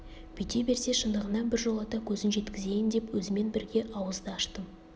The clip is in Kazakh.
бүйте берсе шындығына біржолата көзін жеткізейін деп өзімен бірге ауыз да аштым